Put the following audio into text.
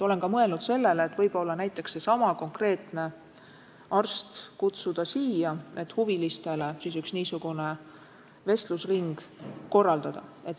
Olen ka mõelnud sellele, et võib-olla seesama konkreetne arst kutsuda siia, et huvilistele üks vestlusring korraldada.